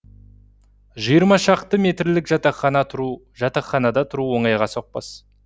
жиырма шаршы метрлік жатақхана тұру жатақханада тұру оңайға соқпас